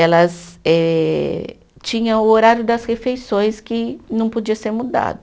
Elas eh, tinha o horário das refeições que não podia ser mudado.